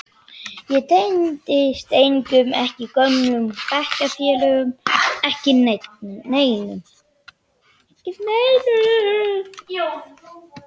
Ég tengdist engum, ekki gömlu bekkjarfélögunum, ekki neinum.